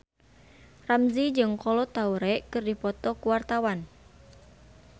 Ramzy jeung Kolo Taure keur dipoto ku wartawan